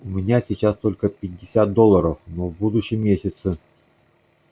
у меня сейчас только пятьдесят долларов но в будущем месяце